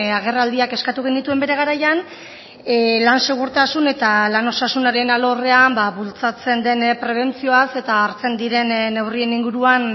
agerraldiak eskatu genituen bere garaian lan segurtasun eta lan osasunaren alorrean bultzatzen den prebentzioaz eta hartzen diren neurrien inguruan